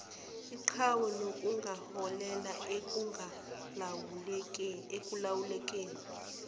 iqhwa nokungaholela ekungalawulekeni